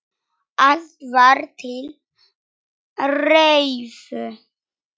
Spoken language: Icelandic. Allt var til reiðu.